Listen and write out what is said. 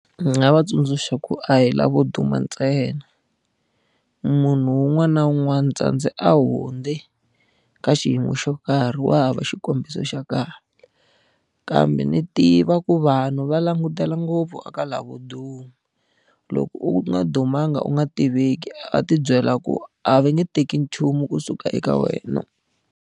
Ni nga va tsundzuxa ku a hi lavo duma ntsena. Munhu un'wana na un'wana tsandze a hundze ka xiyimo xo karhi wa hava xikombiso xa kahle. Kambe ni tiva ku vanhu va langutela ngopfu a ka lavo duma, loko u nga dumanga u nga tiveki a ti byela ku a va nge teki nchumu kusuka eka wena.